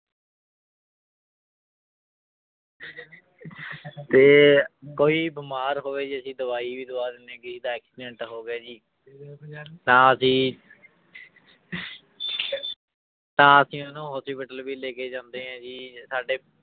ਤੇ ਕੋਈ ਬਿਮਾਰ ਹੋਵੇ ਜੀ ਅਸੀਂ ਦਵਾਈ ਵੀ ਦਵਾ ਦਿੰਦੇ ਹਾਂ ਕਿਸੇ ਦਾ accident ਹੋ ਗਿਆ ਜੀ ਤਾਂ ਅਸੀਂ ਤਾਂ ਅਸੀਂ ਉਹਨੂੰ hospital ਵੀ ਲੈ ਕੇ ਜਾਂਦੇ ਹਾਂ ਜੀ ਸਾਡੇ